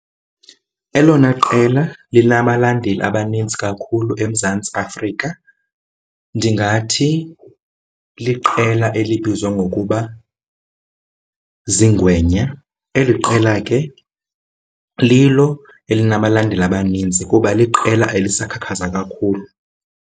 Elona qela linabalandeli abanintsi kakhulu eMzantsi Afrika ndingathi liqela elibizwa ngokuba ziiNgwenya. Eli qela ke lilo elinabalandeli abanintsi kuba liqela elisakhakhaza kakhulu.